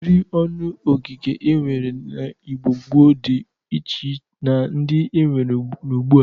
Ụdịrị ọnụ ogige e nwere n'Igbo gboo dị iche na ndị e nwere n'ugbu a.